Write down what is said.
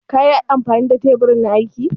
Ƙa yi amfani da tebur na aiki?